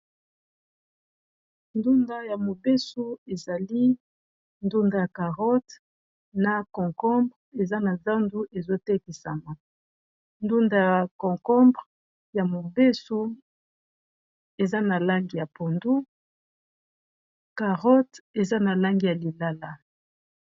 ndunda ya mobesu ezali ndunda ya carote na concombre eza na zandu ezotekisama ndunda ya concombre ya mobesu eza na langi ya pondu carote eza na langi ya lilala